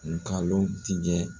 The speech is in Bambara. Ngalon tigɛ